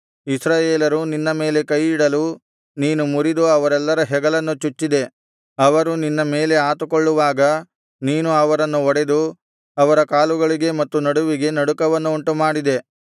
ಇಸ್ರಾಯೇಲರು ನಿನ್ನ ಮೇಲೆ ಕೈಯಿಡಲು ನೀನು ಮುರಿದು ಅವರೆಲ್ಲರ ಹೆಗಲನ್ನು ಚುಚ್ಚಿದೆ ಅವರು ನಿನ್ನ ಮೇಲೆ ಆತುಕೊಳ್ಳುವಾಗ ನೀನು ಅವರನ್ನು ಒಡೆದು ಅವರ ಕಾಲುಗಳಿಗೆ ಮತ್ತು ನಡುವಿಗೆ ನಡುಕವನ್ನು ಉಂಟುಮಾಡಿದೆ